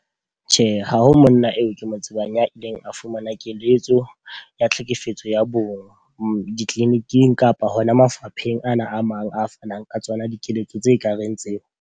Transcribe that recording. Tjhe, ha ho monna eo ke mo tsebang ya ileng a fumana keletso ya tlhekefetso ya bong di-clinic-ing kapa hona mafapheng ana a mang a fanang ka tsona dikeletso tse kareng tseo.